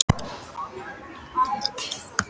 Heimir Már: En það er eitt af því sem verður skoðað?